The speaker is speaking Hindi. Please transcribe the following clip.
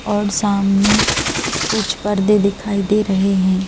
और सामने कुछ पर्दे दिखाई दे रहे हैं।